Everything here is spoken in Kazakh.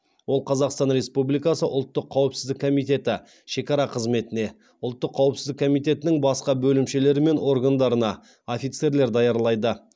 ол қазақстан республикасы ұлттық қауіпсіздік комитеті шекара қызметіне ұлттық қауіпсіздік комитетінің басқа бөлімшелері мен органдарына офицерлер даярлайды